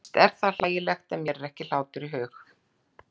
Víst er það hlægilegt, en mér er ekki hlátur í hug.